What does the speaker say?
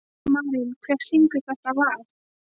Marín, hver syngur þetta lag?